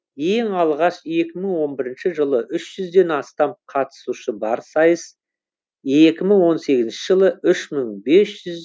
ең алғаш екі мың он бірінші жылы үш жүзден астам қатысушы бар сайыс екі мың он сегізінші жылы үш мың бес жүз